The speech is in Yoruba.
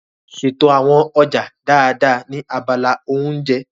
Ṣètò àwọn ọjà dáadáa ní abala oúnjẹ.